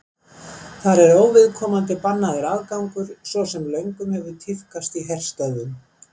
Þar er óviðkomandi bannaður aðgangur svo sem löngum hefur tíðkast í herstöðvum.